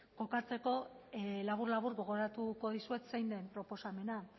kokatzeko labur labur gogoratuko dizuet zein den proposamena